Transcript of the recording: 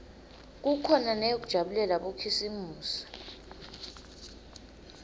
kukhona neyekujabulela bokhisimusi